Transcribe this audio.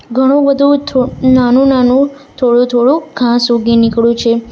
ઘણું બધું થો નાનું નાનું થોડું થોડું ઘાસ ઉગી નીકળ્યું છે.